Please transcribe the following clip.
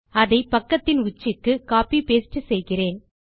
அதை பக்கத்தின் உச்சிக்கு கோப்பி பாஸ்டே செய்கிறேன்